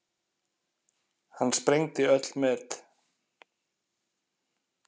Hann sprengdi öll met.